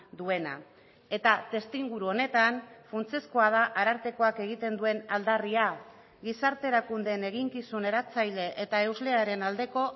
duena eta testuinguru honetan funtsezkoa da arartekoak egiten duen aldarria gizarte erakundeen eginkizun eratzaile eta euslearen aldeko